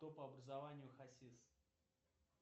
кто по образованию хасис